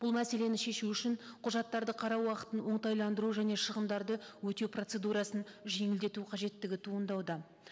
бұл мәселені шешу үшін құжаттарды қарау уақытын оңтайландыру және шығымдарды өтеу процедурасын жеңілдету қажеттігі туындауда